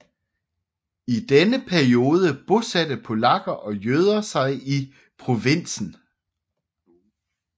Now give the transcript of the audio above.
I denne periode bosatte polakker og jøder sig i provinsen